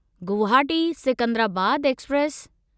Guwahati Secunderabad express